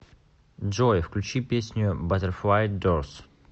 джой включи песню баттерфлай дорс